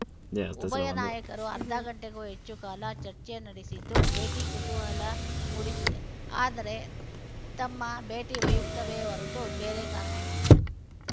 ಉಭಯ ನಾಯಕರು ಅರ್ಧ ಗಂಟೆಗೂ ಹೆಚ್ಚು ಕಾಲ ಚರ್ಚೆ ನಡೆಸಿದ್ದು ಭೇಟಿ ಕುತೂಹಲ ಮೂಡಿಸಿದೆ ಆದರೆ ತಮ್ಮ ಭೇಟಿ ವೈಯುಕ್ತವೇ ಹೊರತು ಬೇರೆ ಕಾರಣವಿಲ್ಲ